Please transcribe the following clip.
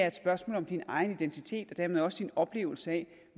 et spørgsmål om din egen identitet og dermed også din oplevelse af